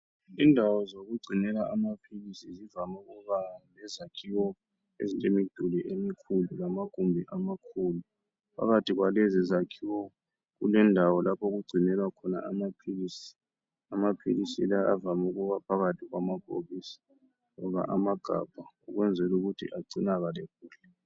Indawo zokugcinela amaphilisi zivam' ukuba lezakhiwo ezinjengemduli emikhulu lamagumbi amakhulu. Phakathi kwalezi zakhiwo kulendawo lapho okungcinelwa khona amaphilisi. Amaphilisi la avam' ukuba phakathi kwamabhokisi noma amagabha ukwenzela ukuthi agcinakale kuhle.